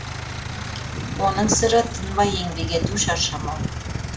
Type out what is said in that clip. оның сыры тынбай еңбек ету шаршамау